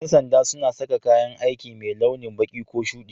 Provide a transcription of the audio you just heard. Yan sanda suna sa kayan aikimai launi baki ko shuɗi.